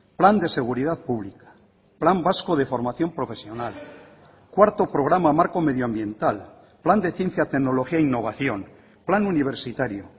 plan de seguridad pública plan vasco de formación profesional cuarto programa marco medioambiental plan de ciencia tecnología e innovación plan universitario